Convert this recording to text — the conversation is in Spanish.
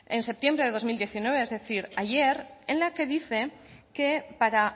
en septiembre de dos mil diecinueve es decir ayer en la que dice que para